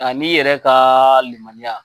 A n'i yɛrɛ ka limaniya.